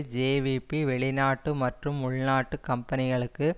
JVP வெளிநாட்டு மற்றும் உள்நாட்டு கம்பனிகளுக்கு